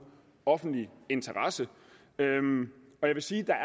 offentlig interesse jeg vil sige